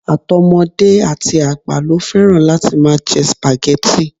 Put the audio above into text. Àtọmọdé àti àgbà ló fẹ́ràn láti máa jẹ spaghetti